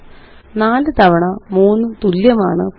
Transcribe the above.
4 തവണ 3 തുല്യമാണ് 12